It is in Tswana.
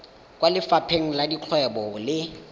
kwa lefapheng la dikgwebo le